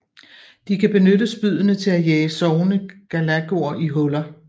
De kan benytte spyddene til at jage sovende galagoer i huller